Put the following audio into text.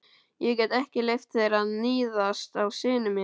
Ég get ekki leyft þér að níðast á syni mínum!